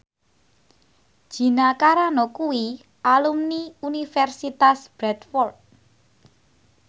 Gina Carano kuwi alumni Universitas Bradford